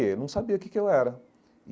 Eu não sabia o que que eu era.